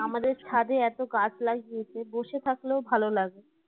আমাদের ছাদে এতো গাছ লাগিয়েছে বসে থাকলেও ভালো লাগে